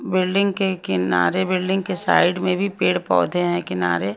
building के किनारे building के साइड में भी पेड़ पौधे हैं किनारे--